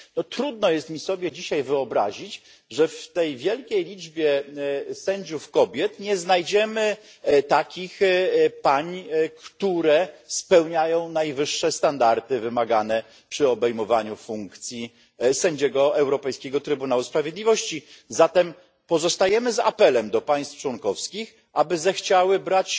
Trudno jest mi sobie dzisiaj wyobrazić, że w tej wielkiej liczbie sędziów kobiet nie znajdziemy takich pań, które spełniają najwyższe standardy wymagane przy obejmowaniu funkcji sędziego Europejskiego Trybunału Sprawiedliwości. Zatem apelujemy do państw członkowskich, aby zechciały brać